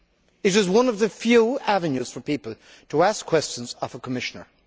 It is one of the few avenues for people to ask questions of a Commissioner.